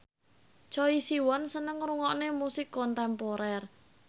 Choi Siwon seneng ngrungokne musik kontemporer